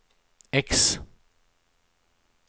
X